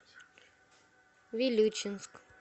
вилючинск